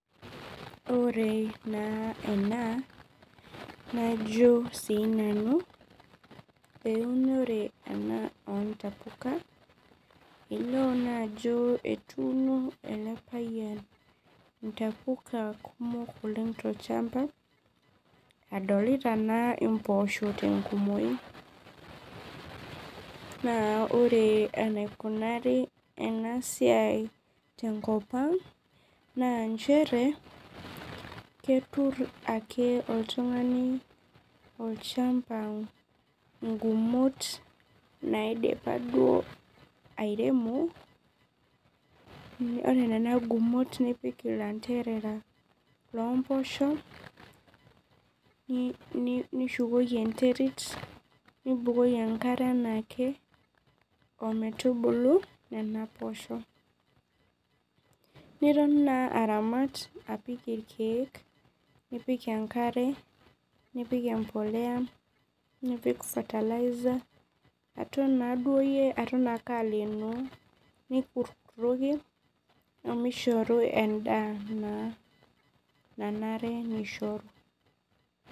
Ore naa ena najo na sinanu eunore na ontapuka, elio ajo etuuno elepayian ntapuka kumok tolchambaadolita naa mpoosho tenkumoi na ore enaikunari enasiai tenkop aang na chere ketur ake oltungani olchamba ngumot naidipa duo airemo, ore nona gumot nipik ilanderera lompoosho nishukoki enterit nibukoki enkare enaake ometubulu nona poosho niton na aramata apik irkiek nipik enkare nipik embolea aton qkeyie aleeno nikurtoki omeshoru endaa nanare nishoru.